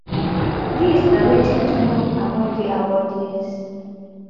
dis na wetin to know about di awardees